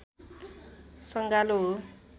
सँगालो हो